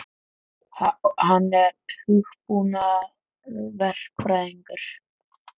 Hann er hugbúnaðarverkfræðingur.